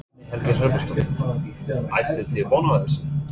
Guðný Helga Herbertsdóttir: Áttuð þið von á þessu?